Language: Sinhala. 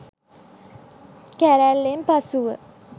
කැරැල්ලෙන් පසුව